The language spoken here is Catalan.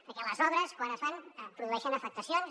perquè les obres quan es fan produeixen afectacions